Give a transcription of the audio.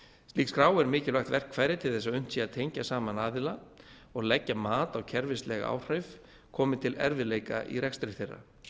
slík skrá er mikilvægt verkfæri til þess að unnt sé að tengja saman aðila og leggja mat á kerfislæg áhrif komi til erfiðleika í rekstri þeirra